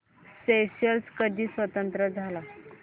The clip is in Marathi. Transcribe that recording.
स्येशेल्स कधी स्वतंत्र झाला